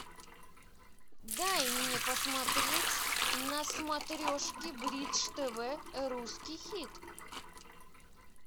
дай мне посмотреть на смотрешке бридж тв русский хит